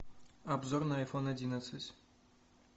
обзор на айфон одиннадцать